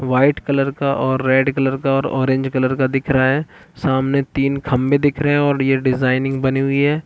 White colour का और red colour और ऑरेंज कलर का दिख रहा है सामने तीन खम्बे दिख रहे है और ये डिजाइन बनी हुई हैं ।